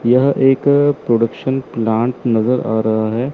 यह एक production plant नजर आ रहा है।